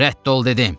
Rədd ol dedim!